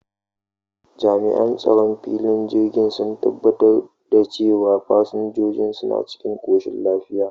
Jami'an tsaron filin jirgin sun tabbatar da cewa fasinjojin suna cikin koshin lafiya.